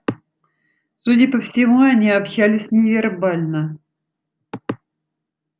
судя по всему они общались невербально